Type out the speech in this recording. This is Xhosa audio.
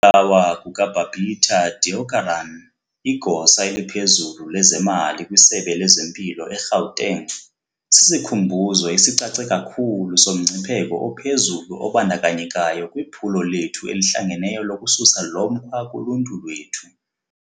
Ukubulawa kuka-Babita Deokaran, igosa eliphezulu lezemali kwisebe lezempilo e-Gauteng, sisikhumbuzo esicace kakhulu somngcipheko ophezulu obandakanyekayo kwiphulo lethu elihlangeneyo lokususa lomkhwa kuluntu lwethu.